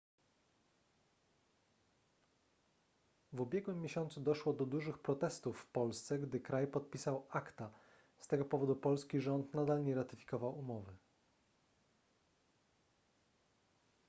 w ubiegłym miesiącu doszło do dużych protestów w polsce gdy kraj podpisał acta z tego powodu polski rząd nadal nie ratyfikował umowy